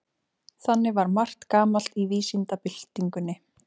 Þannig var margt gamalt í vísindabyltingunni.